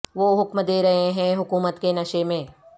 وہ حکم دے رہے ہیں حکومت کے نشے میں